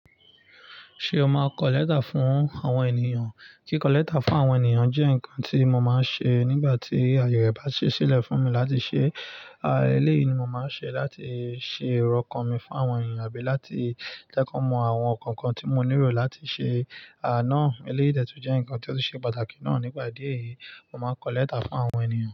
Ṣé o máa n kọ lẹ́tà fún àwọn ènìyàn? Kíkọ lẹ́tà fún àwọn ènìyàn jẹ́ nǹkan tí mo máa ń ṣe nígbà tí aye rẹ̀ bá ṣèṣílẹ̀ fún mi láti ṣe. Eléyìí ni mo máa ń ṣe láti ṣe ìró ọkàn mi fún àwọn ènìyàn àbí láti jẹ́ kọ mọ àwọn nǹkan kan tí mo ní rò láti ṣe. Àná, eléyìí dẹ tún jé nǹkan tí ó tú ṣe pàtàkì náà. Ní pá ìdí èyí, mo máa ń kọ lẹ́tà fún àwọn ènìyàn.